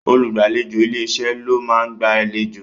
Olùgbàlejò ilé-iṣẹ́ ló máa ń gba àlejò